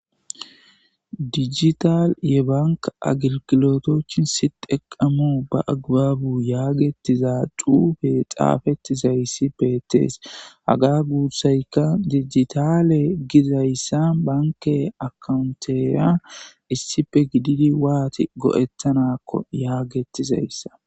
Dijital ye banki agilgilotichin siteqemu be agibabu Giza xufey xafetidaysi bettes. Haga gussayka dijitale gizaysa banke akkawuntera issippe gididi wati go'etanakon yagetizasa